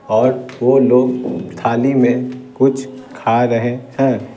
और वो लोग थाली में कुछ खा रहे हैं।